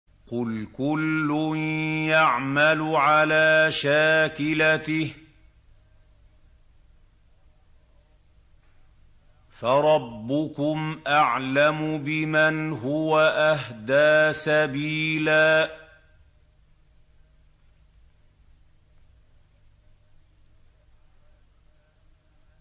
قُلْ كُلٌّ يَعْمَلُ عَلَىٰ شَاكِلَتِهِ فَرَبُّكُمْ أَعْلَمُ بِمَنْ هُوَ أَهْدَىٰ سَبِيلًا